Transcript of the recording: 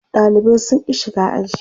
Ɗalibai sun ƙi shiga aji.